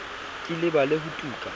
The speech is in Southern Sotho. ke lebale ho tu ka